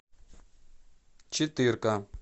четырка